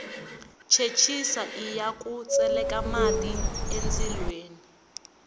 chechisa iya ku tseleka mati endzilweni